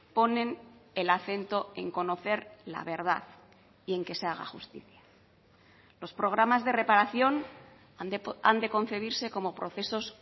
ponen el acento en conocer la verdad y en que se haga justicia los programas de reparación han de concebirse como procesos